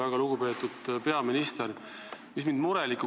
Väga lugupeetud peaminister!